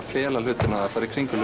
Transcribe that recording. fela hlutina að fara í kringum